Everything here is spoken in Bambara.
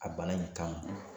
A bana in kan